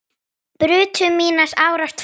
brutu mínar árar tvær